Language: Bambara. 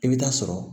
I bɛ taa sɔrɔ